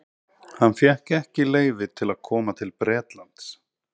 Hann fékk ekki leyfi til að koma til Bretlands.